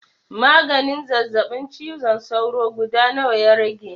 Maganin zazzaɓin cizon sauro guda nawa ya rage?